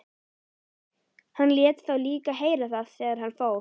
Hann lét þá líka heyra það þegar hann fór.